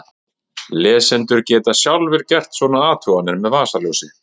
Lesendur geta sjálfir gert svona athuganir með vasaljósi!